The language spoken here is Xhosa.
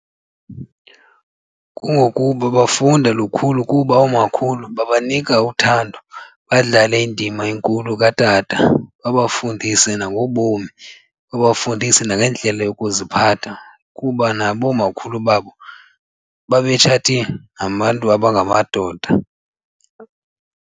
Kungokuba bafunda lukhulu kuba oomakhulu babanika uthando badlale indima enkulu katata babafundise nangobomi, babafundise nangendlela yokuziphatha kuba nabo oomakhulu babo babetshate nabantu abangamadoda.